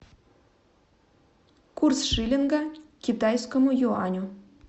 курс шиллинга к китайскому юаню